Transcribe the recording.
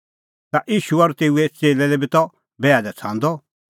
ता ईशू और तेऊए च़ेल्लै लै बी त बैहा लै छ़ांदअ